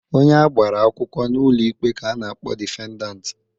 Onye agbara akwụkwọ n'ụlọ ikpe ka a na-akpọ defendant.